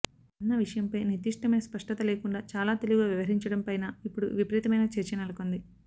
అన్న విషయంపై నిర్దిష్టమైన స్పష్టత లేకుండా చాలా తెలివిగా వ్యవహరించడం పైన ఇప్పుడు విపరీతమైన చర్చ నెలకొంది